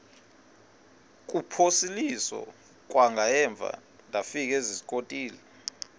kuphosiliso kwangaemva ndafikezizikotile